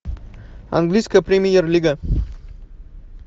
английская премьер лига